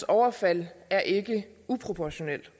overfald er ikke uproportional